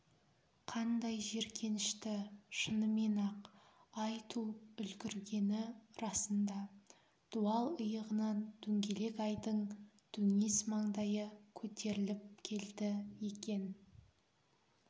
қандай жиіркенішті шынымен-ақ ай туып үлгіргені расында дуал иығынан дөңгелек айдың дөңес маңдайы көтеріліп келді екен